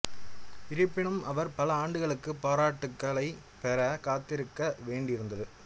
இருப்பினும் அவர் பல ஆண்டுகளுக்கு பாராட்டுக்களைப் பெற காத்திருக்க வேண்டியிருந்தது